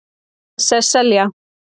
Sesselja